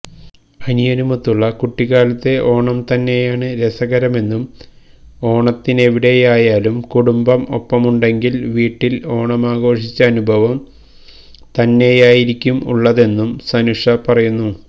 അനിയനുമൊത്തുള്ള കുട്ടിക്കാലത്തെ ഓണം തന്നെയാണ് രസകരമെന്നും ഓണത്തിനെവിടെയായലും കുടുംബം ഒപ്പമുണ്ടെങ്കില് വീട്ടില് ഓണമാഘോഷിച്ച അനുഭവം തന്നെയായിരിക്കും ഉള്ളതെന്നും സനുഷ പറയുന്നു